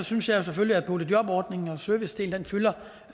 synes jeg selvfølgelig at boligjobordningen og servicedelen fylder